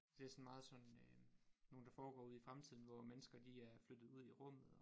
Det sådan meget sådan øh nogen der foregår ude i fremtiden hvor mennesker de er flyttet ud i rummet og